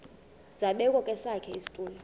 zabekwa kwesakhe isitulo